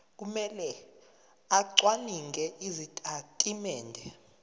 kumele acwaninge izitatimende